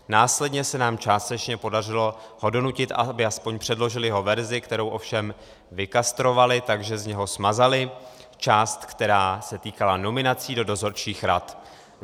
Následně se nám částečně podařilo ho donutit, aby aspoň předložil jeho verzi, kterou ovšem vykastrovali, takže z něho smazali část, která se týkala nominací do dozorčích rad.